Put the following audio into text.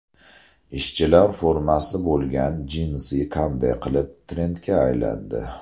Ishchilar formasi bo‘lgan jinsi qanday qilib trendga aylandi?